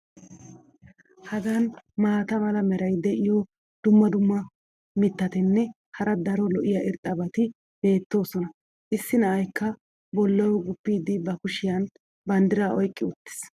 Hagan maata mala meray diyo dumma dumma mitatinne hara daro lo'iya irxxabati beetoosona. issi na"aykka bolawu guppidi ba kushiyan banddiraa oyqqi uttiis.